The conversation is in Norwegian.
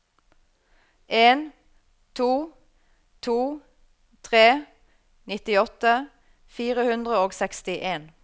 en to to tre nittiåtte fire hundre og sekstien